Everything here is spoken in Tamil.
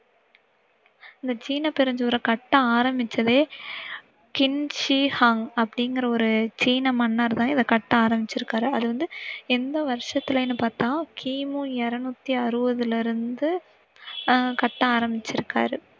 இந்த சீன பெருஞ்சுவர கட்ட ஆரம்பிச்சதே சின் சி ஹுவாங் அப்படிங்கிற ஒரு சீன மன்னர் தான் இத கட்ட ஆரம்பிச்சிருக்காரு. அது வந்து எந்த வருஷத்திலேனு பாத்தா கீமூ இருநூற்று அறுபதுல இருந்த அஹ் கட்ட ஆரம்பிச்சிருக்காரு